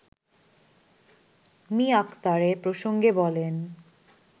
me Akhtar এ প্রসঙ্গে বলেন